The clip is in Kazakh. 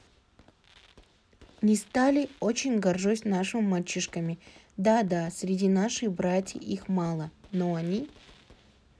не стали рі очень горжусь нашими мальчишками да-да среди нашей братии их мало но они